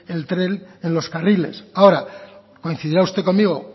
el tren en los carriles ahora coincidirá usted conmigo